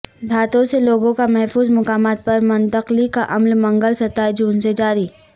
دیہاتوں سے لوگوں کا محفوظ مقامات پر منتقلی کا عمل منگل ستائیس جون سے جاری